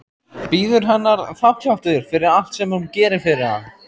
Bíður hennar þakklátur fyrir allt sem hún gerir fyrir hann.